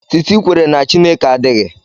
Titi kwere na Chineke adịghị